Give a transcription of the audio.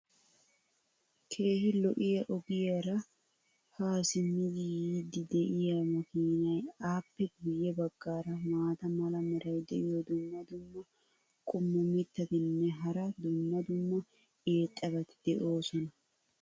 keehi lo'iya ogiyaara haa simmidi yiidi diya makiinaynne appe guye bagaara maata mala meray diyo dumma dumma qommo mitattinne hara dumma dumma irxxabati de'oosona.